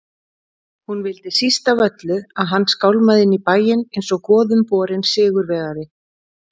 Hún vildi síst af öllu að hann skálmaði inn í bæinn einsog goðumborinn sigurvegari.